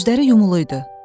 Gözləri yumuluydu.